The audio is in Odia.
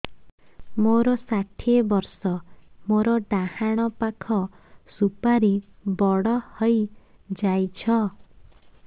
ମୋର ଷାଠିଏ ବର୍ଷ ମୋର ଡାହାଣ ପାଖ ସୁପାରୀ ବଡ ହୈ ଯାଇଛ